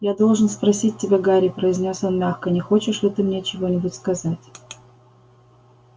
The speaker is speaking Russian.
я должен спросить тебя гарри произнёс он мягко не хочешь ли ты мне что-нибудь сказать